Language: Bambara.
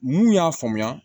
N'u y'a faamuya